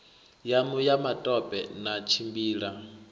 yanu ya matope na tshimbila